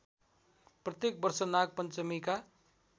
प्रत्येक वर्ष नागपञ्चमीका